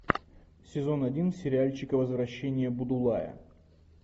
сезон один сериальчик возвращение будулая